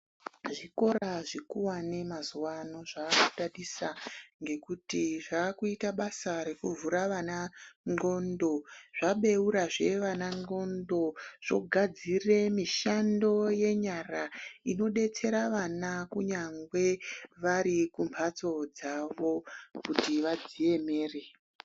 Zvikora zvikuwane mazuvano zvaakudadisa ngekuti zvaakuita basa rekuvhura vana nxondo zvabeurazve vana nxondo zvogadzire mishando yenyara inodetsera vana kunyangwe vari kumhatso dzavo kuti vadziemere.